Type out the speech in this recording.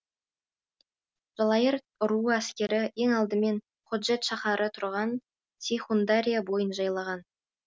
жалайыр руы әскері ең алдыменен ходжент шаһары тұрған сейхундария бойын жайлаған